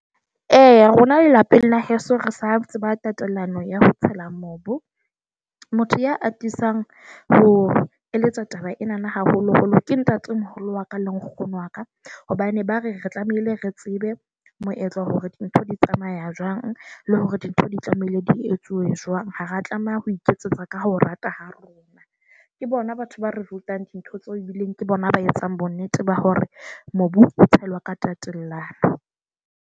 Eya, rona lelapeng la heso re sa tseba tatelano ya ho tshela mobu. Motho ya atisang ho eletsa taba enana haholoholo ke ntatemoholo wa ka le nkgono wa ka hobane ba re re tlamehile re tsebe moetlo, hore dintho di tsamaya jwang. Le hore dintho di tlamehile di etsuwe jwang. Ha re tlameha ho iketsetsa ka ho rata ha rona. Ke bona batho ba result ang dintho tseo ebileng ke bona ba etsang bonnete ba hore mobu tshelwa ka tatellano.